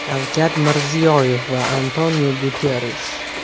Shavkat Mirziyoyev va Antoniu Guterrish.